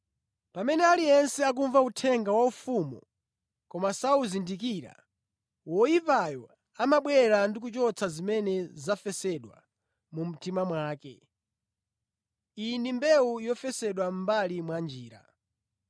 Pamene aliyense akumva uthenga wa ufumu koma sawuzindikira, woyipayo amabwera ndi kuchotsa zimene zafesedwa mu mtima mwake. Iyi ndi mbewu yofesedwa mʼmbali mwa njira.